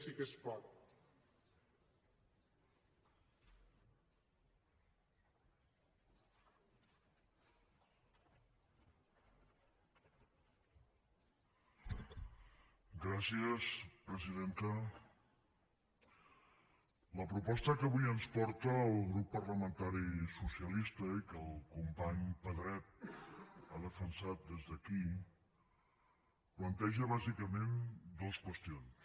la proposta que avui ens porta el grup parlamentari socialista i que el company pedret ha defensat des d’aquí planteja bàsicament dues qüestions